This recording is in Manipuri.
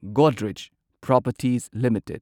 Godrej properties limited